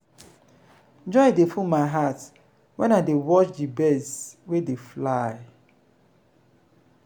joy dey full my heart wen i dey watch di birds wey dey fly.